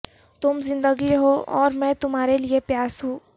تم زندگی ہو اور میں تمہارے لئے پیاس ہوں